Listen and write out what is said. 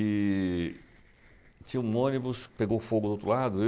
E... tinha um ônibus que pegou fogo do outro lado.